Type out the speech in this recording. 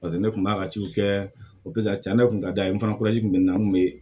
Paseke ne kun b'a ka ciw kɛ cɛn yɛrɛ kun ka d'an ye kun bɛ n na n kun be